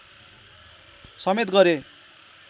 समेत गरे